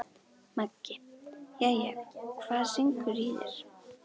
Maggi: Jæja, hvað syngur í þér?